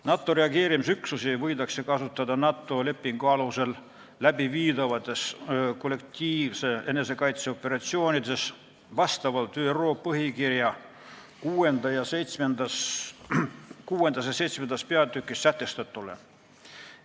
NATO reageerimisüksusi võidakse kasutada NATO lepingu alusel läbiviidavates kollektiivse enesekaitse operatsioonides vastavalt ÜRO põhikirja 6. ja 7. peatükis sätestatule.